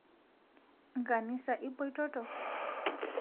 Nkanisa ipoitoto